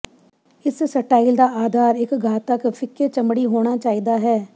ਇਸ ਸਟਾਈਲ ਦਾ ਆਧਾਰ ਇੱਕ ਘਾਤਕ ਫਿੱਕੇ ਚਮੜੀ ਹੋਣਾ ਚਾਹੀਦਾ ਹੈ